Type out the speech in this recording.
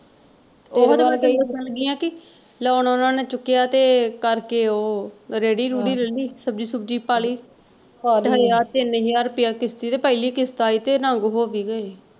ਓਹੋ ਹੀ ਤੇ ਮੈਂ ਦੱਸਣ ਲੱਗੀ ਆ ਕਿ loan ਓਹਨਾ ਨੇ ਚੁੱਕਿਆ ਤੇ ਕਰ ਕੇ ਉਹ ਰੇੜੀ ਰੂੜੀ ਲੈ ਲਈ ਸਬਜ਼ੀ ਸੁਬਜ਼ੀ ਪਾਲੀ ਤੇ ਹੱਲੇ ਆਹ ਤਿੰਨ ਹਜ਼ਾਰ ਰੁਪਇਆ ਕਿਸ਼ਤ ਈ ਤੇ ਪਹਿਲੀ ਕਿਸ਼ਤ ਆਈ ਤੇ ਨੰਗ ਹੋ ਵੀ ਗਏ।